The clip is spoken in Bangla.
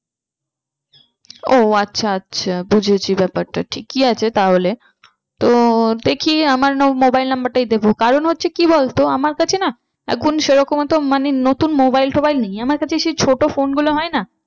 ও আচ্ছা আচ্ছা বুঝেছি ব্যাপারটা ঠিকই আছে তাহলে। তো দেখি আমার mobile number টাই দেবো কারণ হচ্ছে কি বলতো আমার কাছে না এখন সে রকম তো মানে নতুন mobile টোবাইল নেই। আমার কাছে সেই ছোটো phone গুলো হয় না